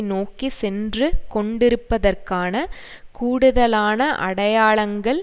நோக்கி சென்று கொண்டிருப்பதற்கான கூடுதலான அடையாளங்கள்